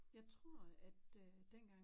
Jeg tror at øh dengang